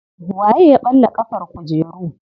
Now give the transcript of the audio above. Waye ya ɓalla ƙafar kujeru.